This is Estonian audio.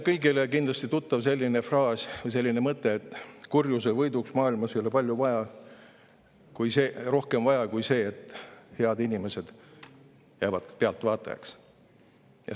Kõigile on kindlasti tuttav selline fraas või mõte, et kurjuse võiduks maailmas ei ole rohkem vaja kui see, et head inimesed jäävad pealtvaatajateks.